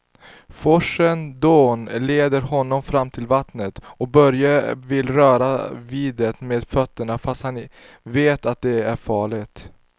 Forsens dån leder honom fram till vattnet och Börje vill röra vid det med fötterna, fast han vet att det är farligt.